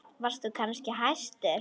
Varst þú kannski hæstur?